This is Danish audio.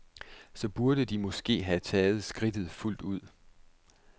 Så burde de måske have taget skridtet fuldt ud?